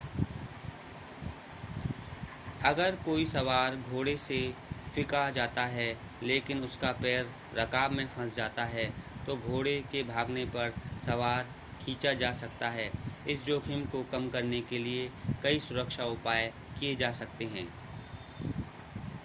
अगर कोई सवार घोड़े से फ़िंका जाता है लेकिन उसका पैर रकाब में फंस जाता है तो घोड़े के भागने पर सवार खींचा जा सकता है इस जोखिम को कम करने के लिए कई सुरक्षा उपाय किए जा सकते हैं